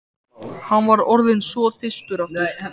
Hann var orðinn svo þyrstur aftur.